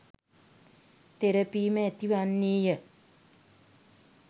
තෙරපීම ඇති වන්නේය.